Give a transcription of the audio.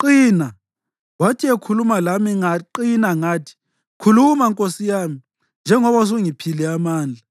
qina.” Wathi ekhuluma lami ngaqina ngathi, “Khuluma, nkosi yami, njengoba usungiphile amandla.”